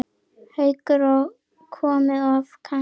Haukur: Og komið oft kannski?